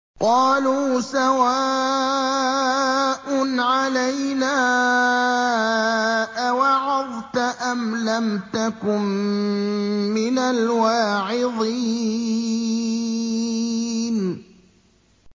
قَالُوا سَوَاءٌ عَلَيْنَا أَوَعَظْتَ أَمْ لَمْ تَكُن مِّنَ الْوَاعِظِينَ